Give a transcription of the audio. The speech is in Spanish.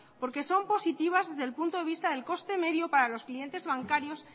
porque son positivas desde el punto de vista del coste medio para los clientes bancarios